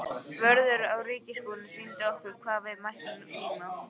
Vörður á ríkisbúinu sýndi okkur hvar við mættum tína.